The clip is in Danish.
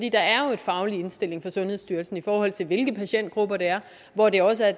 faglig indstilling fra sundhedsstyrelsen i forhold til hvilke patientgrupper det er hvor det også er